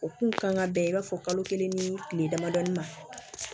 O kun kan ka bɛn i b'a fɔ kalo kelen ni tile damadɔni ma